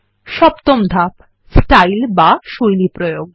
সপ্তম ধাপ160 স্টাইল বা শৈলী প্রয়োগ